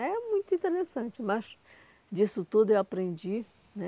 É muito interessante, mas disso tudo eu aprendi, né?